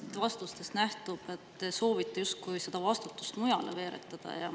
Teie vastustest nähtub, et te soovite justkui seda vastutust mujale veeretada.